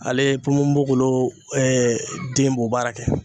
Ale ponponpogolon den b'o baara kɛ